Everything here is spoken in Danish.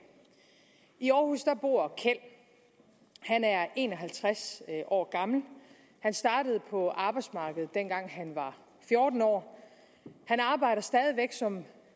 i aarhus bor kjeld han er en og halvtreds år gammel han startede på arbejdsmarkedet dengang han var fjorten år han arbejder stadig væk som